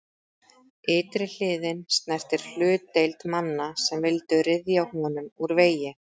Ytri hliðin snertir hlutdeild manna sem vildu ryðja honum úr vegi.